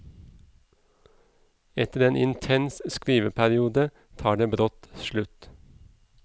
Etter en intens skriveperiode tar det brått slutt.